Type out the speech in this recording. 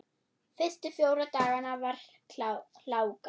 Fyrstu fjóra dagana var hláka.